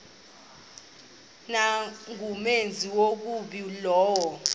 nangumenzi wobubi lowo